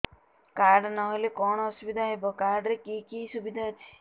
card ନହେଲେ କଣ ଅସୁବିଧା ହେବ କାର୍ଡ ରେ କି କି ସୁବିଧା ଅଛି